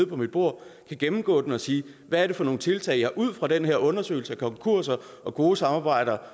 på mit bord kan gennemgå den og sige hvad er det for nogle tiltag som jeg ud fra den her undersøgelse om konkurser og gode samarbejder